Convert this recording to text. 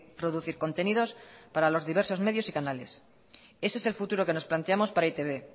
producir contenidos para los diversos medios y canales y ese es el futuro que nos planteamos para e i te be